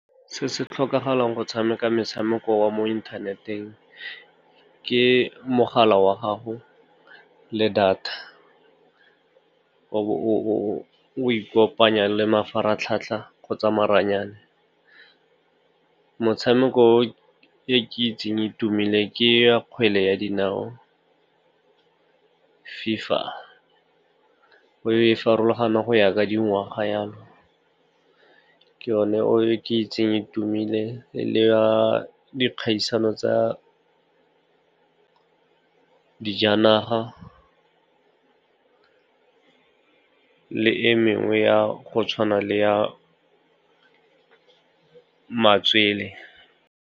Se se tlhokagalang go tshameka motshameko wa mo inthaneteng ke mogala wa gago le data. O bo o ikopanya le mafaratlhatlha kgotsa maranyane. Motshameko e ke e itseng e e tumileng ke ya kgwele ya dinao, FIFA. E farologana go ya ka dingwaga yalo. Ke yone e ke itseng e tumileng, le ya di kgaisano tsa dijanaga le e mengwe go tshwana le ya matswele.